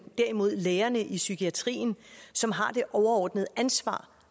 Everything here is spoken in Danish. derimod lægerne i psykiatrien som har det overordnede ansvar